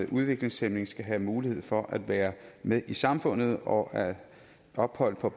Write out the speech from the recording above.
udviklingshæmmede skal have mulighed for at være med i samfundet og at ophold på